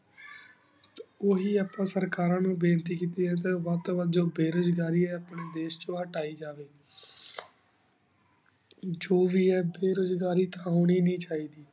ਉਹੀ ਅਪਾ ਸੇਰ੍ਕਾਰਨ ਨੂ ਬੇਨਤੀ ਕੀਤੀ ਆਯ ਜੋ ਬੇਰੁਜ਼ ਘੀ ਆਯ ਅਪਨ੍ਯਨ ਦੇਸ਼ ਚੁ ਹਟਾਈ ਜਾਵੀ ਜੋ ਵੀ ਅਹਿਨ ਬੇਰੁਜ਼ ਘੀ ਹੁਣੀ ਨੀ ਚੀ ਦੀ